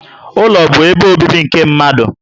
Ụlọ bu ebe obibi nke mmadụ